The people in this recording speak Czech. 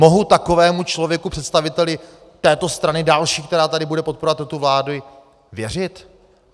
Mohu takovému člověku, představiteli této strany, další, která tady bude podporovat tuto vládu, věřit?